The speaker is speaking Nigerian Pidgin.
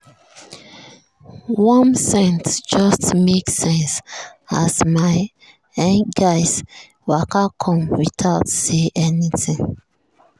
warm scent just make sense as my um guys waka come without say anything.